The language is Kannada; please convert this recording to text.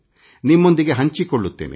ನಿಮ್ಮೊಂದಿಗೆ ಹಂಚಿಕೊಳ್ಳುತ್ತೇನೆ